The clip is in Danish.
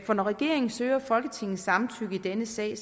for når regeringen søger folketingets samtykke i denne sag